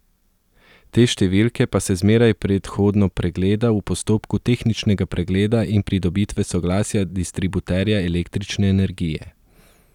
Te številke pa se zmeraj predhodno pregleda v postopku tehničnega pregleda in pridobitve soglasja distributerja električne energije.